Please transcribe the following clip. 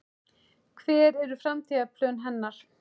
Hver eru framtíðarplön hennar?